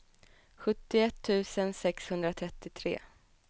sjuttioett tusen sexhundratrettiotre